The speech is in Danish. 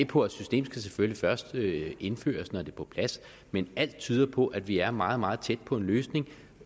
på at systemet selvfølgelig først skal indføres når det er på plads men alt tyder på at vi er meget meget tæt på en løsning